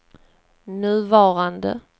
nuvarande